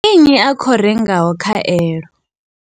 Ndi nnyi a khou rengaho khaelo?